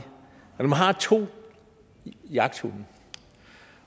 at har to jagthunde